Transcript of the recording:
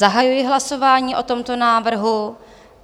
Zahajuji hlasování o tomto návrhu.